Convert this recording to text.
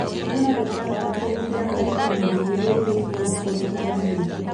Hũthĩra gĩtambaya kũhumbĩra kanua na maniũrũ rĩrĩa ũrĩ kũndũ kwa mũingĩ.